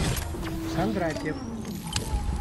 кондратьев